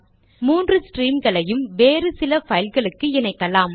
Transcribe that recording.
மூன்று ஸ்ட்ரீம்களையும் வேறு சில பைல்களுக்கு இணைக்கலாம்